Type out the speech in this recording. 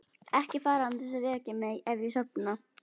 Ekki fara án þess að vekja mig ef ég sofna.